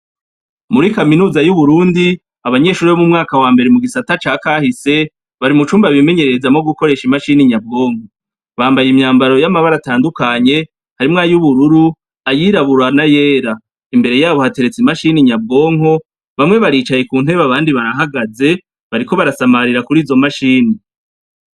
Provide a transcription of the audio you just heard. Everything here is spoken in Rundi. Muri Kaminuza y'Uburundi, abanyeshure bo mu mwaka wambere mugisata ca kahise, bari mucumba bimenyererezamwo gukoresha imashini nyabwonko . Bambaye imyambaro y'amabara atandukanye harimwo ay'uburururu, ayirabura n'ayera. Imbere yabo hateretse imashini nyabwonko, bamwe baricaye kuntebe abandi barahagaze